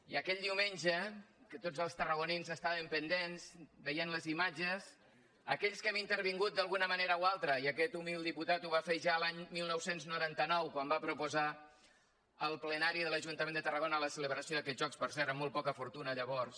i aquell diumenge que tots els tarragonins estàvem pendents veient les imatges aquells que hi hem intervingut d’alguna manera o altra i aquest humil diputat ho va fer ja l’any dinou noranta nou quan va proposar al plenari de l’ajuntament de tarragona la celebració d’aquests jocs per cert amb molt poca fortuna llavors